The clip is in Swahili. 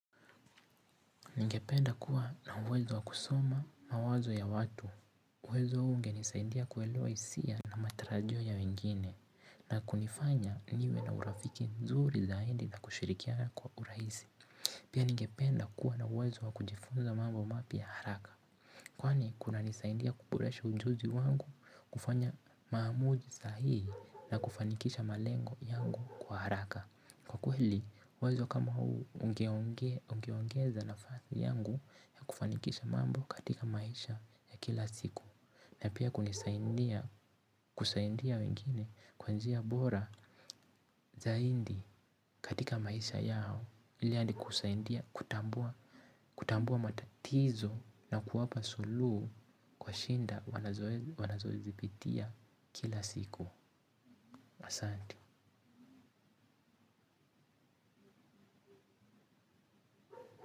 Ningependa kuwa na uwezo wa kusoma mawazo ya watu. Uwezo ungenisaidia kuelewa hisia na matarajio ya wengine na kunifanya niwe na urafiki nzuri zaidi na kushirikiana kuwa kurahisi. Pia ningependa kuwa na uwezo wa kujifunza mambo mapya haraka. Kwani, kunanisaidia kuboresha ujuzi wangu, kufanya maamuzi sahii na kufanikisha malengo yangu kwa haraka. Kwa kweli wazo kama huu ungeongeza nafasi yangu ya kufanikisha mambo katika maisha ya kila siku. Na pia kunisaidia, kusaidia wengine kwa njia bora zaidi katika maisha yao ili hadi kusaidia, kutambua, kutambua matatizo na kuwapa suluhu kwa shida wanazozipitia kila siku asanti.